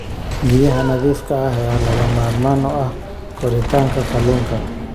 Biyaha nadiifka ah ayaa lagama maarmaan u ah koritaanka kalluunka.